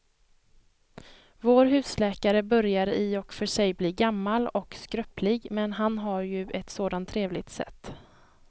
Vår husläkare börjar i och för sig bli gammal och skröplig, men han har ju ett sådant trevligt sätt!